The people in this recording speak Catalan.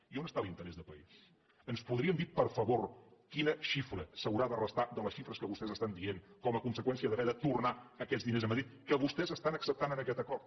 i on està l’interès de país ens podrien dir per favor quina xifra s’haurà de restar de les xifres que vostès es tan dient com a conseqüència d’haver de tornar aquests diners a madrid que vostès estan acceptant en aquest acord